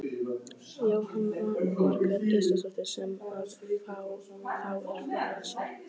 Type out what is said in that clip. Jóhanna Margrét Gísladóttir: Sem að þá er flokkað sér?